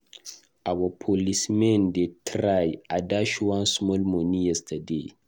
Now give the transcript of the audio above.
Our policemen dey try. I dash one small money yesterday.